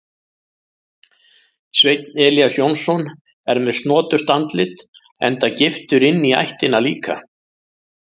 Sveinn Elías Jónsson er með snoturt andlit enda giftur inní ættina líka.